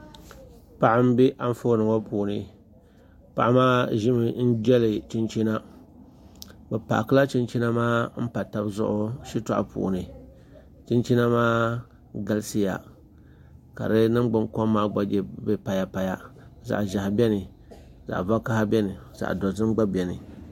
Paɣa n bɛ Anfooni ŋo puuni paɣa maa ʒimi n jɛli chinchina o paakila chinchina maa n pa tabi zuɣu shitoɣu puuni chinchina maa galisiya ka di ningbuni kom maa gba bɛ payapaya zaɣʒiɛhi biɛni zaɣ vakaɣa biɛni zaɣ dozim gba biɛni